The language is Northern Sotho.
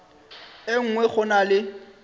e nngwe go na le